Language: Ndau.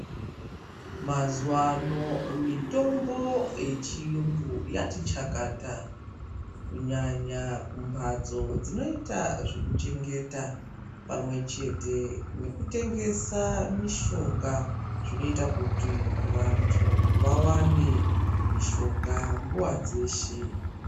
Mazuwano mitombo yechiyungu yati chakata kunyanya kumbatso dzinoita zvekuchengeta pamwechete nekutengesa mishonga zvinoita kuti vantu vawane mishonga nguwa dzeshe.